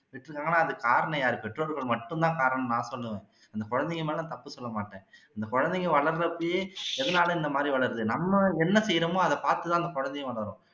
விட்டுருக்காங்கன்னா அதுக்கு காரணம் எல்லாம் யாரு பெற்றோர்கள் மட்டும் தான் காரணம்னு நான் சொல்லுவேன் அந்த குழந்தைங்க மேல நான் தப்பு சொல்ல மாட்டேன் அந்த குழந்தங்க வளருற அப்பையே எதுனால இந்த மாதிரி வளருது நம்ம என்ன செய்யுறமோ அதை பாத்து தான் அந்த குழந்தையும் வளரும்